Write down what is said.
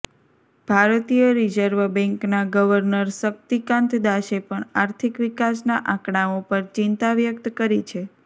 ભારતીય રિઝર્વ બેન્કના ગવર્નર શક્તિકાંત દાસે પણ આર્થિક વિકાસના આંકડાઓ પર ચિંતા વ્યક્ત કરી છે